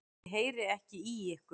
Ég heyri ekki í ykkur.